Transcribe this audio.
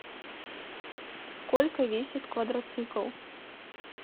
сколько весит квадроцикл